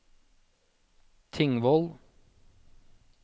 Tingvoll